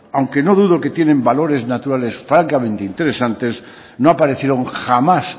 aunque no dudo que tienen valores naturales francamente interesantes no aparecieron jamás